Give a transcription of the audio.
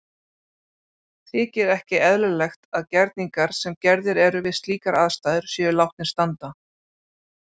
Þykir ekki eðlilegt að gerningar sem gerðir eru við slíkar aðstæður séu látnir standa.